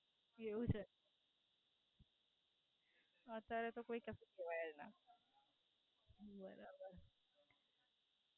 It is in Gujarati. એવું છે? અત્યારે તો કોઈ જંતુ હોય ત્યાં. હમ બરાબર.